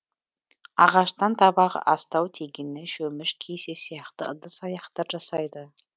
ағаштан табақ астау тегене шөміш кесе сияқты ыдыс аяқтар жасайды